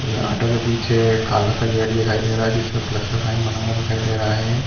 उन ऑटो के पीछे एक काला सा गेट दिखाई दे रहा है जिसपे प्लस का साइन बना हुआ दिखाई दे रहा है।